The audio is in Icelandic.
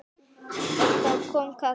En þá kom kallið.